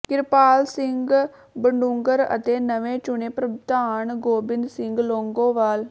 ਕਿਰਪਾਲ ਸਿੰਘ ਬਡੂੰਗਰ ਅਤੇ ਨਵੇਂ ਚੁਣੇ ਪ੍ਰਧਾਨ ਗੋਬਿੰਦ ਸਿੰਘ ਲੌਂਗੋਵਾਲ